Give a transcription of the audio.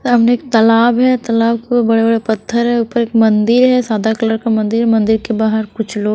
सामने एक तालाब है तालाब को बड़े-बड़े पत्थर है ऊपर एक मंदिर है सादा कलर का मंदिर है मंदिर के बाहर कुछ लोग --